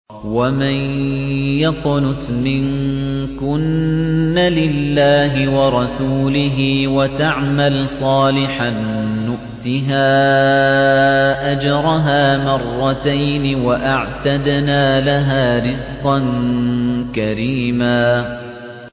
۞ وَمَن يَقْنُتْ مِنكُنَّ لِلَّهِ وَرَسُولِهِ وَتَعْمَلْ صَالِحًا نُّؤْتِهَا أَجْرَهَا مَرَّتَيْنِ وَأَعْتَدْنَا لَهَا رِزْقًا كَرِيمًا